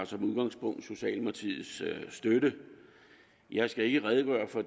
har som udgangspunkt socialdemokratiets støtte jeg skal ikke redegøre for